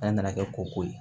An nana kɛ ko ko ye